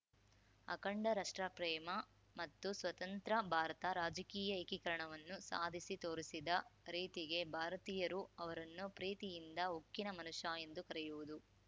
ಅಖಂಡ ರಷ್ಟ್ರಪ್ರೇಮ ಮತ್ತು ಸ್ವತಂತ್ರ ಭಾರತದ ರಾಜಕೀಯ ಏಕೀಕರಣವನ್ನು ಸಾಧಿಸಿ ತೋರಿಸಿದ ರೀತಿಗೆ ಭಾರತೀಯರು ಅವರನ್ನು ಪ್ರೀತಿಯಿಂದ ಉಕ್ಕಿನ ಮನುಷ್ಯ ಎಂದು ಕರೆಯುವುದು